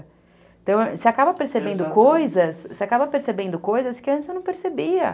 Então, você acaba percebendo coisas... Você acaba percebendo coisas que antes eu não percebia.